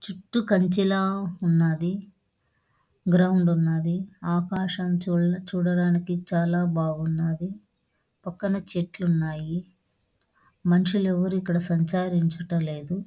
చుట్టూ కంచ ల ఉన్నది. గ్రౌండ్ ఉన్నది.ఆకాశం చూడ చూడడానికి చాల బాగున్నది .పక్కన చెట్లు ఉన్నాయి.మనసులు ఎవరు ఇక్కడ సంచరిచడం లేదు.